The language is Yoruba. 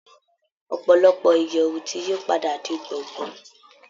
Ọ̀pọ̀lọpọ̀ ìyẹ̀wù ti yí padà di gbọ̀ngán